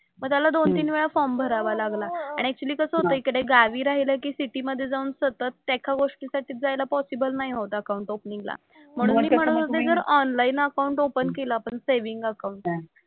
मग त्याला दोन-तीन वेळा फॉर्म भरावा लागला आणि ऍक्चुअली कसं होतंय इकडे गावी राहिलं की सिटी मध्ये जाऊन सतत एका गोष्टीसाठी जायला पॉसिबल नाही होत अकाउंट ओपनिंगला. म्हणून मी म्हणत होते जर ऑनलाईन अकाउंट ओपन केलं आपण सेव्हिन्ग अकाउंट,